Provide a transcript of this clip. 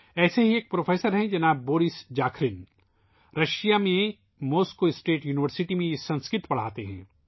ایسے ہی ایک پروفیسر مسٹر بورس زاخرِن ہیں ، جو روس کی ماسکو اسٹیٹ یونیورسٹی میں سنسکرت پڑھاتے ہیں